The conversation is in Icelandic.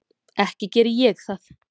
Ekki geri ég það.